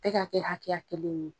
E k'a kɛ hakɛya kelen ye.